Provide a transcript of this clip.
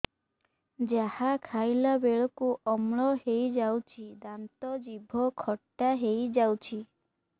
ଯାହା ଖାଇଲା ବେଳକୁ ଅମ୍ଳ ହେଇଯାଉଛି ଦାନ୍ତ ଜିଭ ଖଟା ହେଇଯାଉଛି